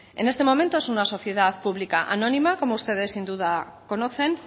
en este momento es una sociedad pública anónima como ustedes sin duda conocen